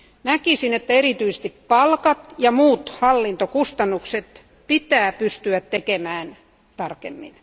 Näkisin, että erityisesti palkat ja muut hallintokustannukset pitää pystyä tekemään tarkemmin.